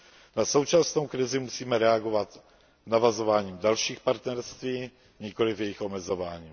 Na současnou krizi musíme reagovat navazováním dalších partnerství, nikoliv jejich omezováním.